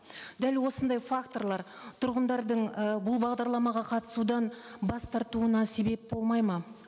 дәл осындай факторлар тұрғындардың ы бұл бағдарламаға қатысудан бас тартуына себеп болмайды ма